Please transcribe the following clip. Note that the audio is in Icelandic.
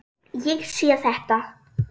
Ég sé þetta.